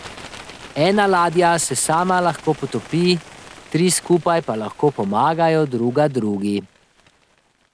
Ena ladja se sama lahko potopi, tri skupaj pa lahko pomagajo druga drugi.